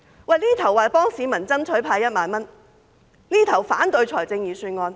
這邊廂說幫市民爭取派1萬元，那邊廂卻反對預算案。